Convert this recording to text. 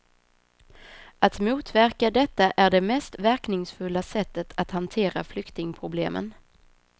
Att motverka detta är det mest verkningsfulla sättet att hantera flyktingproblemen.